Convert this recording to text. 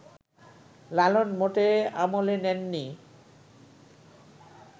লালন মোটেই আমলে নেন নি